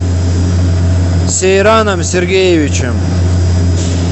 сейраном сергеевичем